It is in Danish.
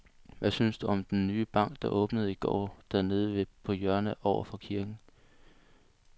Hvad synes du om den nye bank, der åbnede i går dernede på hjørnet over for kirken?